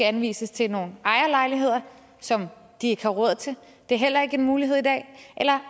anvises til nogle ejerlejligheder som de ikke har råd til det er heller ikke en mulighed i dag eller